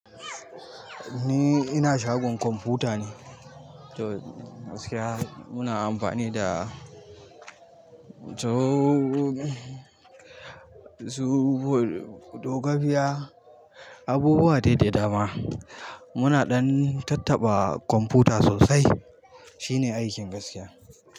Ni ina shagon kwamfuta ne. To gaskiya muna amfani da zo-zo, dogiya, abubuwa dai da dama. Muna ɗan tattaɓa kwamfuta sosai. Shine aikin gaskiya.